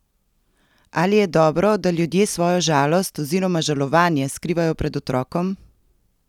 Ali je dobro, da ljudje svojo žalost oziroma žalovanje skrivajo pred otrokom?